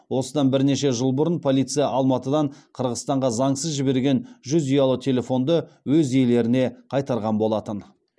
осыдан бірнеше жыл бұрын полиция алматыдан қырғызстанға заңсыз жіберген жүз ұялы телефонды өз иелеріне қайтарған болатын